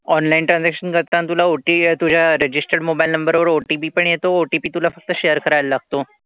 Online transaction करताना तुला OTP तुला तुझ्या registered mobile number वर OTP पण येतो. OTP तुला फक्त share करायला लागतो.